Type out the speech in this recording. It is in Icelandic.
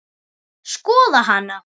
Skoða hana?